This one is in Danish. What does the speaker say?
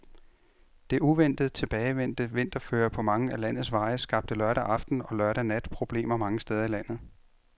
Det uventet tilbagevendte vinterføre på mange af landets veje skabte lørdag aften og lørdag nat problemer mange steder i landet.